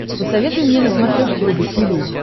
посоветуй мне на смотрешке рубль ти ви